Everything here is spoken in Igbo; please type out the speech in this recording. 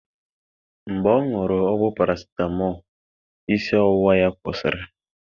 Mgbe ọṅụru ọgwụ paracetamol isi ọwụwa ya kwụsịrị